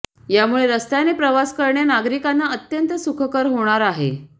यामुळे रस्त्याने प्रवास करणे नागरिकांना अत्यंत सुखकर होणार आहे